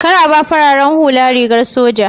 Kar a ba fararen hula rigar soja